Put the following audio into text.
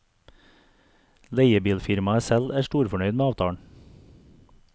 Leiebilfirmaet selv er storfornøyd med avtalen.